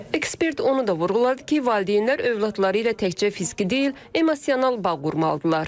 Ekspert onu da vurğuladı ki, valideynlər övladları ilə təkcə fiziki deyil, emosional bağ qurmalıdırlar.